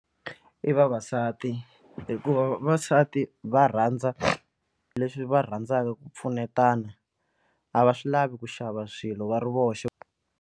I vavasati hikuva vavasati va rhandza leswi va rhandzaka ku pfunetana a va swi lavi ku xava swilo va ri voxe.